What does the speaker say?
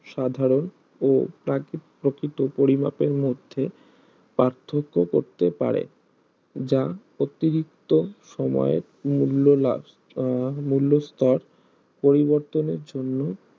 সাধারণ ও প্রকৃত পরিমাপের মধ্যে পার্থক্য করতে পারে যা অতিরিক্ত সময়ের মূল্য লাভ আহ মূল্য স্তর পরিবর্তনের জন্য